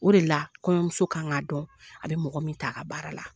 O de la kɔɲɔmuso ka k'a dɔn a bɛ mɔgɔ min ta a ka baara la